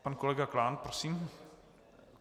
Pan kolega Klán, prosím.